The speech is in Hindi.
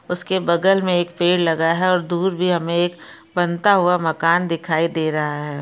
उसके बगल में एक पेड़ लगा है और दूर भी हमें एक बनता हुआ मकान दिखाई दे रहा है।